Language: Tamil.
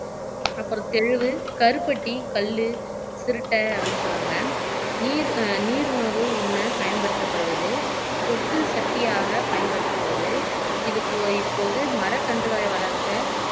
அப்புறம் தெலுவு கருப்பட்டி கல்லு திருட்டை அப்படின்னு சொல்றாங்க நீர் ஆஹ் நீர் உணவு உண்ண பயன்படுத்தப்படுவது பொட்டு சக்தியாக பயன்படுத்தப்படுது இது இப்போது மரக்கன்றுகளை வளர்க்க